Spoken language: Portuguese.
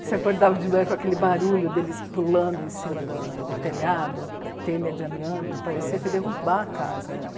Você acordava de manhã com aquele barulho deles pulando em cima da... do telhado, telha de amianto, parecia que ia derrubar a casa.